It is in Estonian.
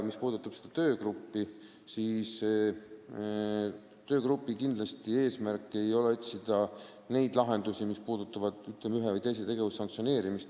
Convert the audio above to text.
Mis puudutab seda töögruppi, siis selle eesmärk ei ole kindlasti otsida neid lahendusi, kuidas ühte või teist tegevust sanktsioneerida.